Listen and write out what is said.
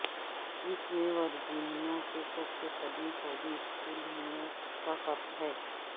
اس میں ورجینیا کے سب سے قدیم فوجی اسکول ہونے کا فرق ہے